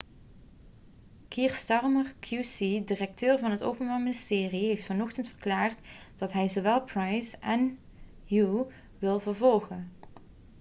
kier starmer qc directeur van het openbaar ministerie heeft vanochtend verklaard dat hij zowel pryce en huhne wil vervolgen